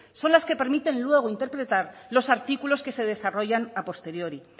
son las que permiten luego interpretar los artículos que se desarrollan a posteriori